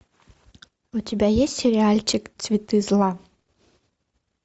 у тебя есть сериальчик цветы зла